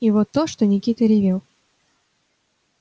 и вот то что никита ревел